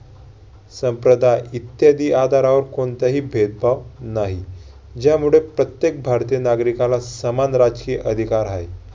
संप्रदाय इत्यादि आधारावर कोणताही भेदभाव नाही. ज्यामुळे प्रत्येक भारतीय नागरिकाला समान राजकीय अधिकार आहे.